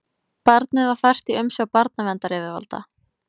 Barnið var fært í umsjá barnaverndaryfirvalda